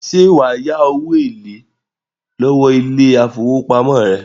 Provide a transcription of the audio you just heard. Ṣẹ́ wà á yá owó èlé lọ́wó ile-ifowópamọ́ rẹ.